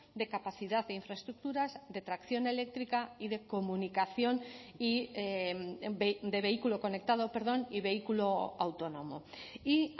de capacidad e infraestructuras de tracción eléctrica y de comunicación y de vehículo conectado perdón y vehículo autónomo y